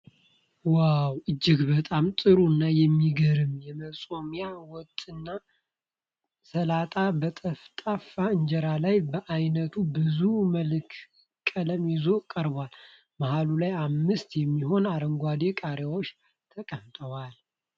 ዋው! እጅግ በጣም ጥሩ እና የሚገርም የመጾሚያ ወጥና ሰላጣ በጠፍጣፋ እንጀራ ላይ በአይነቱ ብዙ መልክዓ ቀለም ይዞ ቀርቧል። መሃሉ ላይ አምስት የሚሆኑ አረንጓዴ ቃሪያዎች ተቀምጠዋል።